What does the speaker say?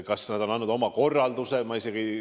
Kas nad on andnud oma korralduse?